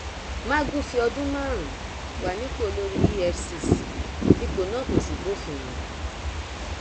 magu fi ọdún márùnún wà nípò olórí efcc ipò náà kò sì bófin mu